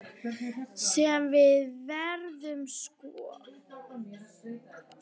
Sem við veiðum sko?